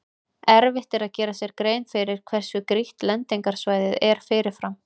Erfitt er að gera sér grein fyrir hversu grýtt lendingarsvæðið er fyrirfram.